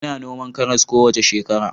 Ina noman karas kowace shekara